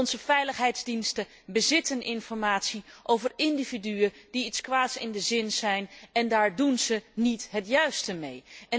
Onze veiligheidsdiensten bezitten informatie over individuen die iets kwaads in de zin hebben en daar doen ze niet het juiste mee.